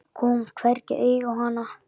Kom hvergi auga á hana.